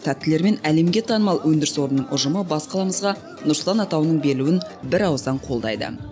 тәттілерімен әлемге танымал өндіріс орнының ұжымы бас қаламызға нұр сұлтан атауының берілуін бір ауыздан қолдайды